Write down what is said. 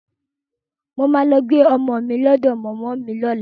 Mo máa lọ gbé ọmọ mi lọ́dọ̀ mọ̀mọ́ mi lọ́la